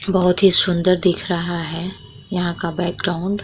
बहोत ही सुंदर दिख रहा हैं यहाँ का बैकग्रॉउंड ।